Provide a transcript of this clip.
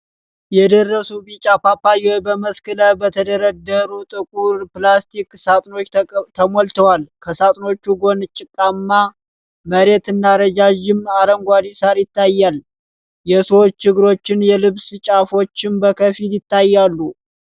የደረሱ ቢጫ ፓፓያዎች በመስክ ላይ በተደረደሩ ጥቁር ፕላስቲክ ሳጥኖች ተሞልተዋል። ከሳጥኖቹ ጎን ጭቃማ መሬት እና ረዣዥም አረንጓዴ ሣር ይታያል፤ የሰዎች እግሮችና የልብስ ጫፎችም በከፊል ይታያሉ።